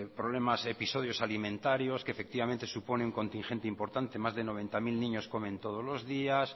problemas episodios alimentarios que efectivamente supone un contingente importante más de noventa mil niños comen todos los días